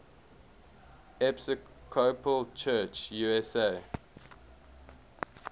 episcopal church usa